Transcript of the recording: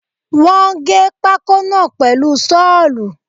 Wọ́n gé pákó náà pèlu Ṣọ́ọ̀lù